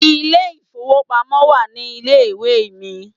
Ilé ìfowópamọ́ wà ní ilé ìwé mi.